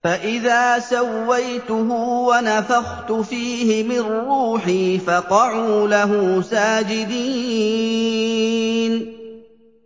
فَإِذَا سَوَّيْتُهُ وَنَفَخْتُ فِيهِ مِن رُّوحِي فَقَعُوا لَهُ سَاجِدِينَ